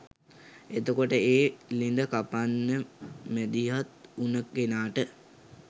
එතකොට ඒ ළිඳ කපන්න මැදිහත් වුණ කෙනාට